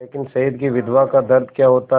लेकिन शहीद की विधवा का दर्द क्या होता है